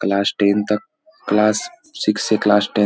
class ten तक class six से class ten --